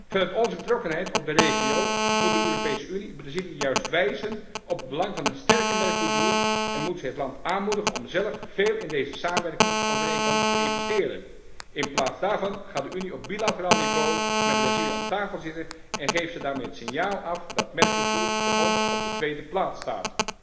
Vanuit onze betrokkenheid met de regio moet de Europese Unie Brazilië juist wijzen op het belang van een sterke Mercosur en moet zij het land aanmoedigen om zelf veel in deze samenwerkingsovereenkomst te investeren. In plaats daarvan gaat de Unie op bilateraal niveau met Brazilië om de tafel zitten en geeft ze daarmee het signaal af dat Mercosur voor ons op de tweede plaats staat.